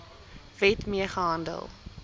wet mee gehandel